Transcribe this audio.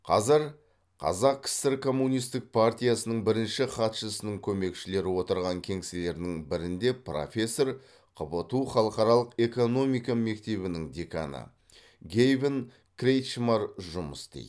қазір қазақ кср коммунистік партиясының бірінші хатшысының көмекшілері отырған кеңселердің бірінде профессор қбту халықаралық экономика мектебінің деканы гэйвин кретчмар жұмыс істейді